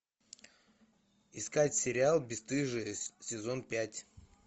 искать сериал бесстыжие сезон пять